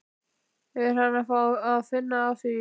Er hann að fá að finna fyrir því?